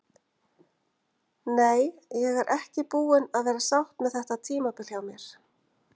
Nei, ég er ekki búin að vera sátt með þetta tímabil hjá mér.